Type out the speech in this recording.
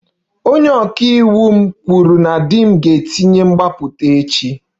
Onye ọka iwu m kwuru na di m ga-etinye mgbapụta echi